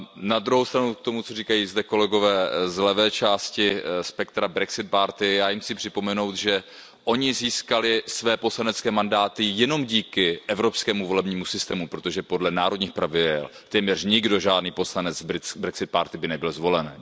Na druhou stranu k tomu, co zde říkají kolegové z levé části spektra, z Brexit Party já jim chci připomenout, že oni získali své poslanecké mandáty jenom díky evropskému volebnímu systému, protože podle národních pravidel téměř nikdo, žádný poslanec Brexit Party by nebyl zvolen.